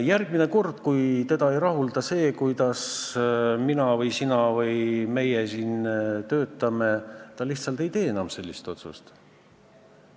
Järgmine kord, kui teda ei rahulda see, kuidas mina või sina või meie siin töötame, ta lihtsalt ei tee enam sellist otsust.